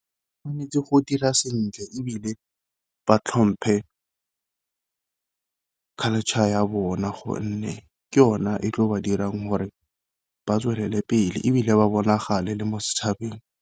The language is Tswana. O tshwanetse go dira sentle ebile ba tlhomphe culture ya bona gonne ke yona e tlo ba dirang gore ba tswelele pele, ebile ba bonagale le mo setšhabeng.